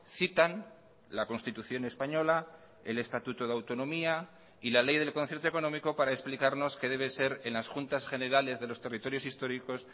citan la constitución española el estatuto de autonomía y la ley del concierto económico para explicarnos que debe ser en las juntas generales de los territorios históricos